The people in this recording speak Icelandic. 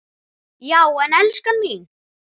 Já en elskan mín.